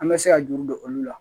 An bɛ se ka juru don olu la